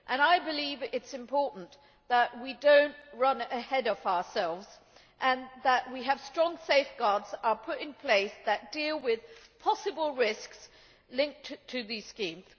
I believe it is important that we do not run ahead of ourselves and that strong safeguards are put in place that deal with possible risks linked to these schemes.